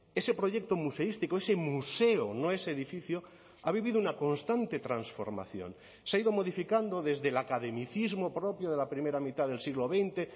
ese proyecto museístico ese museo no ese edificio ha vivido una constante transformación se ha ido modificando desde la academicismo propio de la primera mitad del siglo veinte